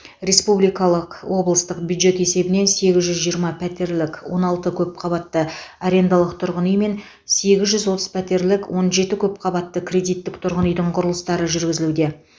республикалық облыстық бюджет есебінен сегіз жүз жиырма пәтерлік он алты көпқабатты арендалық тұрғын үй мен сегіз жүз отыз пәтерлік он жеті көпқабатты кредиттік тұрғын үйдің құрылыстары жүргізілуде